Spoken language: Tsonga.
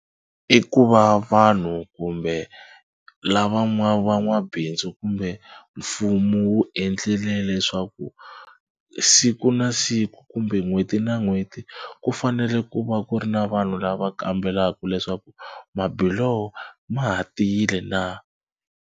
I ku va vanhu kumbe lava van'wabindzu kumbe mfumo wu endlile leswaku siku na siku kumbe n'hweti na n'hweti ku fanele ku va ku ri na vanhu lava kambelaka leswaku mabiloho ma ha tiyile na.